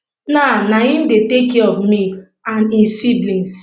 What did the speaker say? na na im dey take care of me and e siblings